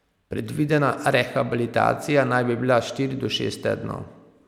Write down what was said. Predvidena rehabilitacija naj bi bila štiri do šest tednov.